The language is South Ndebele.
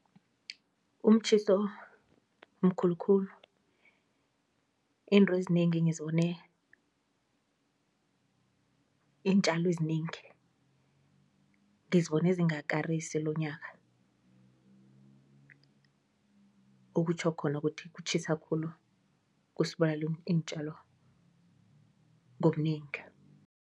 Umtjhiso mkhulu khulu izinto ezinengi ngizibone, iintjalo ezinengi ngizibone zingakarisi lonyaka okutjho khona ukuthi kutjhisa khulu kusibulalela iintjalo ngobunengi.